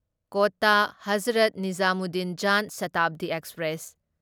Kota Hazrat Nizamuddin Jan Shatabdi express